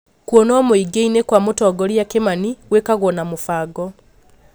Kũonwo mũingĩ-inĩ kwa mũtongoria Kimani gwĩkagwo na mũbango